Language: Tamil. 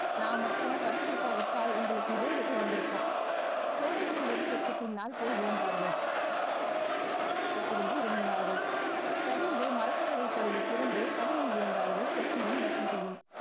நான் மட்டும் விட்டால் உங்களுக்கு இதே கதி வந்திருக்கும் கோரைப்புல் வரிசைக்கு பின்னால் போய் விழுந்தார்கள் அவசரமாக வைத்திருந்து இறங்கினார்கள் சரிந்து மரக்கதவை தள்ளி திறந்து கடலில் விழுந்தார்கள் சசியும் வசந்தியும்